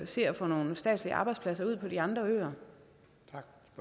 se at få nogle statslige arbejdspladser ud på de andre